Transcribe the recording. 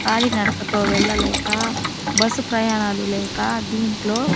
కాలినడకతో వెళ్లలేక బస్సు ప్రయాణాలు లేక దీంట్లో --